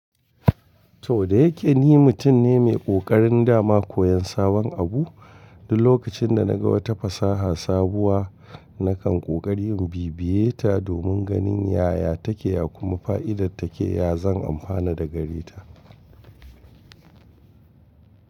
To da yake ni mutum ne mai ƙoƙarin dama koyon sabon abu, duk lokacin da na ga wata fasaha sabuwa, nakan ƙoƙari in bibiye ta domin ganin yaya take ya kuma fa'idar take, ya zan amfana da gare ta.